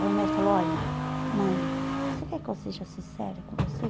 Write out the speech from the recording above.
Aí o médico falou, olha, mãe, você quer que eu seja sincera com você?